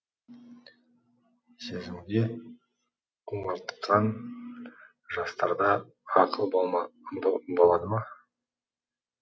сезімге құмартқан жастарда ақыл бболады ма